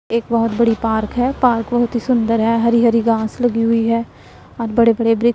एक बहुत बड़ी पार्क है पार्क बहुत ही सुंदर है हरी हरी घास लगी हुई है और बड़े बड़े ब्री--